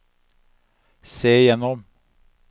se gjennom